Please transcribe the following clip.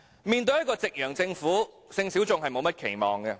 面對一個夕陽政府，性小眾並沒有甚麼期望。